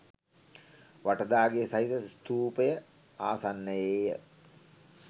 වටදාගෙය සහිත ස්තූපය ආසන්නයේය.